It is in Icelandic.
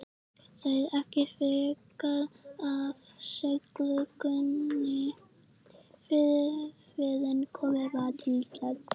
Segir ekki frekar af siglingunni fyrren komið var til Íslands.